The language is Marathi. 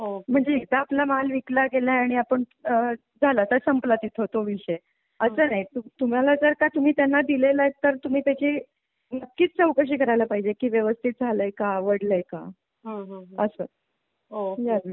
ओके म्हणजे एकदा आपला माल विकला गेला आणि आपण आह झाला तर संपला तिथून तो विषय असं नाही तुम्हाला जर का तुम्ही त्यांना दिले ला आहे तर तुम्ही त्याची नक्कीच चौकशी करायला पाहिजे की व्यवस्थित झालंय का आवडलाय का हं असं होय या दृष्टीने.